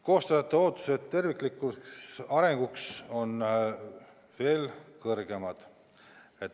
Koostajate ootused maapiirkondade terviklikule arengule on veel kõrgemad.